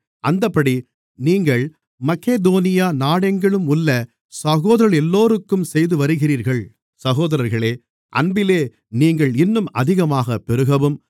அந்தப்படி நீங்கள் மக்கெதோனியா நாடெங்கிலும் உள்ள சகோதரர்களெல்லோருக்கும் செய்துவருகிறீர்கள் சகோதரர்களே அன்பிலே நீங்கள் இன்னும் அதிகமாகப் பெருகவும்